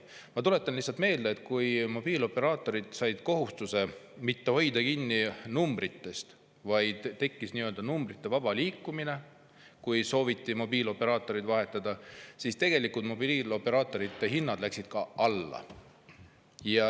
Ma tuletan lihtsalt meelde, et kui mobiilioperaatorid said kohustuse mitte hoida kinni numbritest, vaid tekkis nii-öelda numbrite vaba liikumine, kui sooviti mobiilioperaatorit vahetada, siis mobiilioperaatorite hinnad läksid alla.